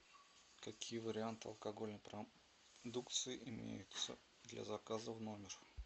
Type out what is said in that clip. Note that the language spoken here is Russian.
какие варианты алкогольной продукции имеются для заказа в номер